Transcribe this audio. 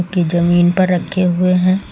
की जमीन पर रखे हुए हैं।